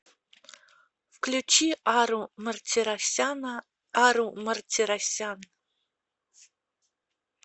включи ару мартиросяна ару мартиросян